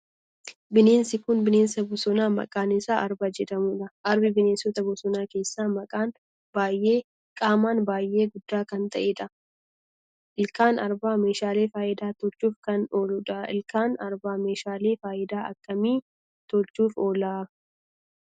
Bineensi kun bineensa bosonaa maqaan isaa arba jedhamudha. Arbi bineensota bosonaa keessaa qaaman baayyee guddaa kan ta'edha. Ilkaan arbaa meeshaalee faayaa tolchuuf kan ooludha. Ilkaan arbaa meeshaalee faayaa akkamii tolchuuf oola?